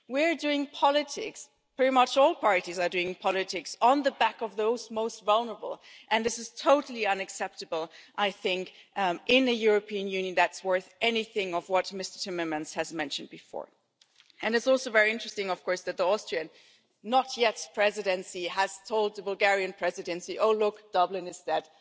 We are doing politics pretty much all parties are doing politics on the back of those most vulnerable. I think that this is totally unacceptable in a European Union that is worth any of what Mr Timmermans mentioned before. It is also very interesting that the approaching Austrian Presidency has told the Bulgarian Presidency that Dublin is